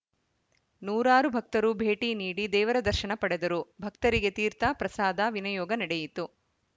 ನೂರಾರು ಭಕ್ತರು ಭೇಟಿ ನೀಡಿ ದೇವರ ದರ್ಶನ ಪಡೆದರು ಭಕ್ತರಿಗೆ ತೀರ್ಥ ಪ್ರಸಾದ ವಿನಿಯೋಗ ನಡೆಯಿತು